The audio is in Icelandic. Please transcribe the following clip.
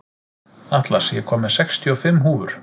Atlas, ég kom með sextíu og fimm húfur!